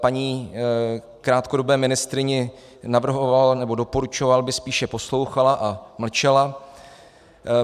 Paní krátkodobé ministryni navrhoval, nebo doporučoval, aby spíše poslouchala a mlčela.